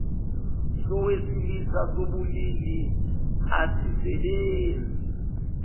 sowesilisa sobulili asisebenzi